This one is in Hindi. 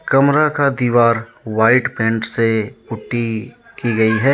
कमरा का दीवार व्हाइट पेंट से पुट्टी की गई है।